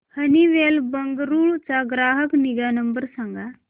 Honeywell Bengaluru चा ग्राहक निगा नंबर सांगा